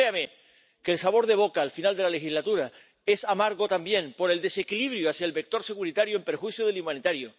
Pero créame que el sabor de boca al final de la legislatura es amargo también, por el desequilibrio hacia el vector securitario en perjuicio del humanitario.